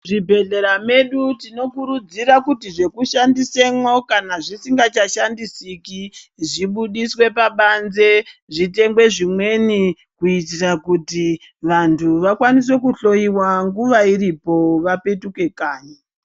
Muzvibhedhlera medu tinokurudzira kuti zvekishandisemwo kana zvisingachashandisiki zvibudiswe pabanze zvitengwe zvimweni kuitira kuti vanthu vakwanise kuhloyiwa nguwa iirpo vapetuke kanyi.